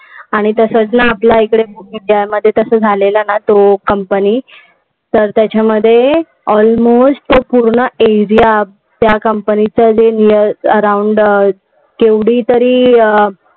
आणि तसंच ना आपल्या इकडे इंडियामध्ये झालेला तो company, तर त्याच्यामध्ये almost पूर्ण इंडिया त्या company चं around केवढीतरी